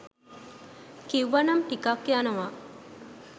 කිව්වනම් ටිකක් යනව